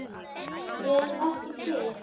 Ég er ekki til.